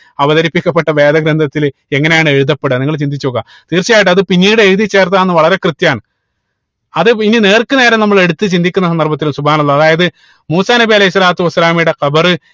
അവതരിപ്പിക്കപ്പെട്ട വേദ ഗ്രന്ഥത്തിൽ എങ്ങനെയാണ് എഴുതപ്പെട നിങ്ങൾ ചിന്തിച്ച് നോക്ക തീർച്ചയായിട്ടും അത് പിന്നീട് എഴുതി ചേർത്തതാണ് വളരെ കൃത്യമാണ് അത് ഇനി നേർക്കുനേരെ നമ്മള് എടുത്ത് ചിന്തിക്കുന്ന സന്ദർഭത്തിൽ അള്ളാഹ് അതായത് മൂസാ നബി അലൈഹി സ്വലാത്തു വസ്സലാമയുടെ ഖബർ